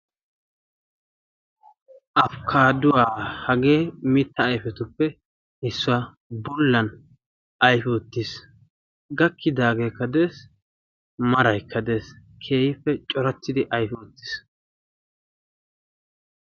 afkkaaduwaa hagee mitta aifetuppehissuwaa bollan aifi oottiis. gakkidaageekka dees maraikka dees keyiife corattidi aifi oottiis.